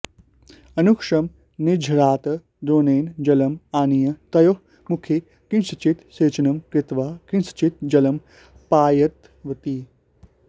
अनुक्षणं निर्झरात् द्रोणेन जलम् आनीय तयोः मुखे किञ्चित् सेचनं कृत्वा किञ्चित् जलं पायितवती